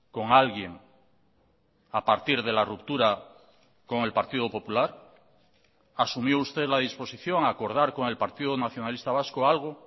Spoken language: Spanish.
con alguien a partir de la ruptura con el partido popular asumió usted la disposición a acordar con el partido nacionalista vasco algo